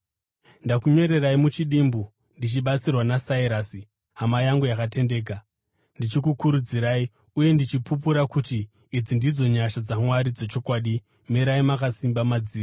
Ndakakunyorerai muchidimbu ndichibatsirwa naSirasi hama yangu yakatendeka, ndichikukurudzirai uye ndichipupura kuti idzi ndidzo nyasha dzaMwari dzechokwadi. Mirai makasimba madziri.